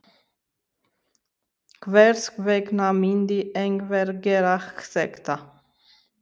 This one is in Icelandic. Hvers vegna myndi einhver gera þetta?